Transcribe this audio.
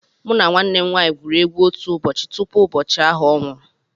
Mụ na nwanne nwaanyị gwuru egwu otu ụbọchị tupu ụbọchị ahụ ọ nwụrụ